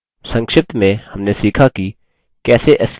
संक्षिप्त में हमने सीखा कि: